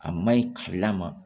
A maɲi ka ma